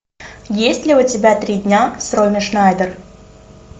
есть ли у тебя три дня с роми шнайдер